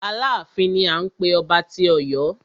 Aláàfin ni à ń pé ọba tí Ọ̀yọ́.